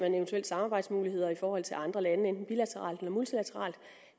samarbejdsmuligheder i forhold til andre lande enten bilateralt eller multilateralt